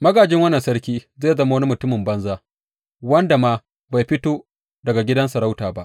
Magājin wannan sarki zai zama wani mutumin banza wanda ma bai fito daga gidan sarauta ba.